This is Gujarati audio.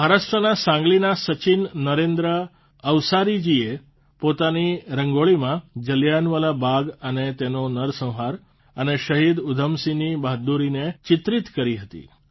મહારાષ્ટ્રના સાંગલીના સચિન નરેન્દ્ર અવસારીજીએ પોતાની રંગોળીમાં જલિયાંવાલા બાગ અને તેનો નરસંહાર અને શહીદ ઉધમસિંહની બહાદૂરીને ચિત્રિત કરી હતી